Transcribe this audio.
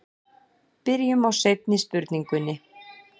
Byrjum á seinni spurningunni.